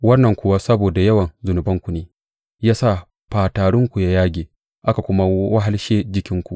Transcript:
Wannan kuwa saboda yawan zunubanku ne ya sa fatarinku ya yage aka kuma wahalshe jikinku.